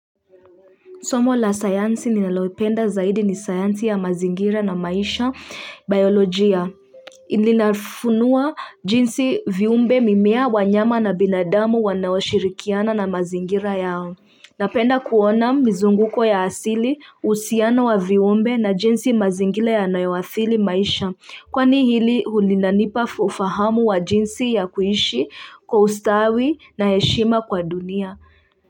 Somo la sayansi ninalopenda zaidi ni sayansi ya mazingira na maisha biolojia Ilinafunuwa jinsi viumbe mimea wanyama na binadamu wanaoshirikiana na mazingira yao Napenda kuona mizunguko ya asili uhusiano wa viumbe na jinsi mazingira yanayawathili maisha kwani hili hulinanipa ufahamu wa jinsi ya kuishi kwa ustawi na heshima kwa dunia.